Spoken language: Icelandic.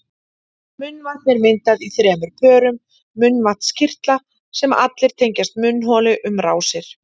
Munnvatn er myndað í þremur pörum munnvatnskirtla sem allir tengjast munnholi um rásir.